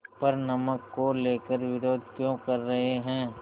पर नमक को लेकर विरोध क्यों कर रहे हैं